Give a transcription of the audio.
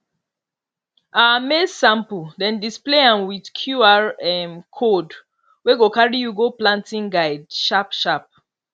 our maize sample dem display am with qr um code wey go carry you go planting guide sharpsharp